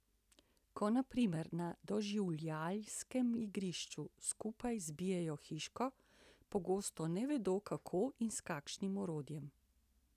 Ko, na primer, na doživljajskem igrišču skupaj zbijajo hiško, pogosto ne vedo, kako in s kakšnim orodjem.